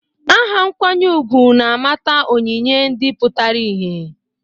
Aha nkwanye ugwu na-amata onyinye ndị pụtara ìhè.